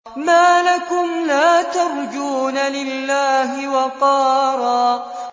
مَّا لَكُمْ لَا تَرْجُونَ لِلَّهِ وَقَارًا